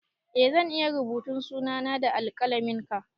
Eh zan iya rubuta suna na da alƙalamin ka